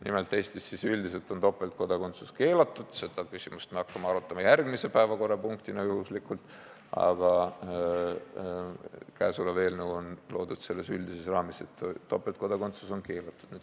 Nimelt on Eestis topeltkodakondsus üldiselt keelatud – seda küsimust hakkame arutama järgmise päevakorrapunktina – ja ka käesolev eelnõu on loodud selles üldises raamis, et topeltkodakondsus on keelatud.